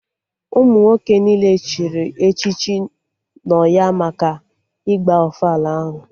Ụmụ nwoke niile chịrị echichi nọ ya maka ịgba ofala ahụ